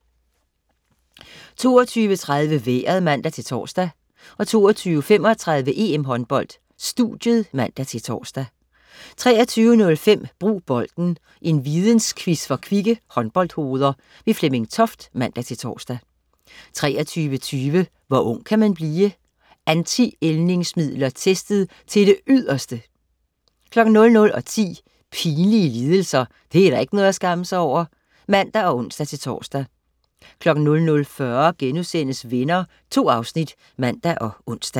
22.30 Vejret (man-tors) 22.35 EM-Håndbold: Studiet (man-tors) 23.05 Brug Bolden. Vidensquiz for kvikke håndboldhoveder. Flemming Toft (man-tors) 23.20 Hvor ung kan man blive? Anti-ældningsmidler testet til det yderste! 00.10 Pinlige lidelser. det er da ikke noget at skamme sig over! (man og ons-tors) 00.40 Venner* 2 afsnit (man og ons)